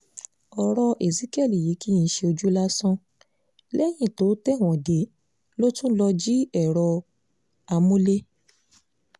ọ̀rọ̀ ezekiel yìí kì í ṣojú lásán lẹ́yìn tó tẹ̀wọ̀n dé ló tún lọ́ọ́ jí èrò amúlé